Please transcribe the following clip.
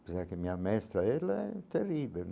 Quer dizer, que minha mestra ela é terrível.